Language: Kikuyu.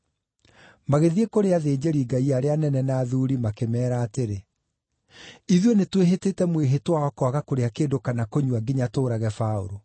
Magĩthiĩ kũrĩ athĩnjĩri-Ngai arĩa anene na athuuri makĩmeera atĩrĩ, “Ithuĩ nĩtwĩhĩtĩte mwĩhĩtwa wa kwaga kũrĩa kĩndũ kana kũnyua nginya tũũrage Paũlũ.